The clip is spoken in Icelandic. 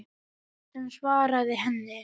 Kjartan svaraði henni ekki.